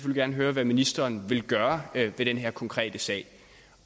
gerne høre hvad ministeren vil gøre ved den her konkrete sag